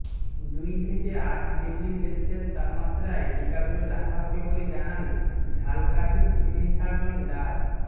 দুই থেকে আট ডিগ্রি সেলসিয়াস তাপমাত্রায় টিকাগুলো রাখা হবে বলে জানান ঝালকাঠির সিভিল সার্জন ডা